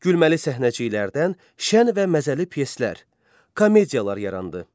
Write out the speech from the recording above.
Gülməli səhnəciklərdən şən və məzəli pyeslər, komediyalar yarandı.